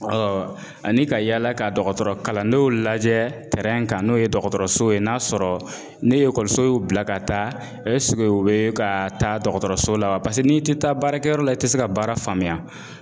ani ka yaala ka dɔgɔtɔrɔ kalandenw lajɛ ka n'o ye dɔgɔtɔrɔso ye n'a sɔrɔ ni ekɔliso y'u bila ka taa u bɛ ka taa dɔgɔtɔrɔso la wa n'i ti taa baarakɛyɔrɔ la i tɛ se ka baara faamuya